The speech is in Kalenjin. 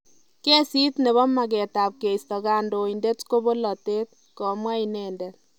Kesit nebo makeet ab keisto kandoindet ko polatet, komwa inendet